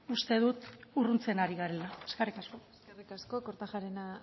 uste dut urruntzen ari garela eskerrik asko eskerrik asko kortajarena